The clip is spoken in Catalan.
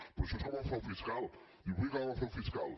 però això és com el frau fiscal diu vull acabar amb el frau fiscal